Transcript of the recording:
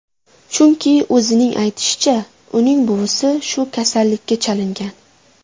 Chunki, o‘zining aytishicha, uning buvisi shu kasallikka chalingan.